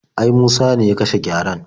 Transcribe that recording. Ai Musa ne ya kashe gyaren.